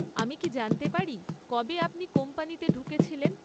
আমি কি জানতে পারি কবে আপনি কোম্পানিতে ঢুকেছিলেন?